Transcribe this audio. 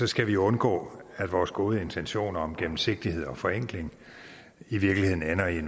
skal vi undgå at vores gode intentioner om gennemsigtighed og forenkling i virkeligheden ender i